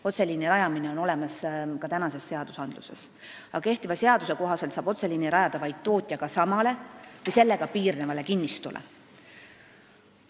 Otseliini rajamist võimaldab ka praegune seadus, aga seni saab otseliini rajada vaid tootjaga samale või sellega piirnevale kinnistule.